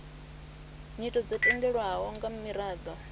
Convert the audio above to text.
nyito dzo tendelwaho nga miraḓo